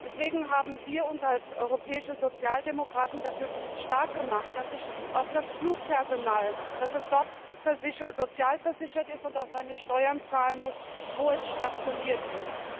Deswegen haben wir uns als europäische Sozialdemokraten dafür stark gemacht, dass auch das Flugpersonal dort sozialversichert ist und seine Steuern zahlen muss, wo es stationiert ist.